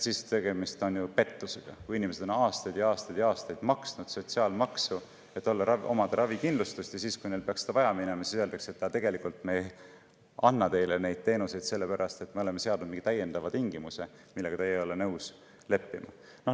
Siis on ju tegemist pettusega: inimesed on aastaid ja aastaid ja aastaid maksnud sotsiaalmaksu, et omada ravikindlustust, ja siis, kui neil peaks seda vaja minema, öeldakse, et me tegelikult ei anna teile neid teenuseid, sellepärast et me oleme seadnud mingi täiendava tingimuse, millega teie ei ole nõus leppima.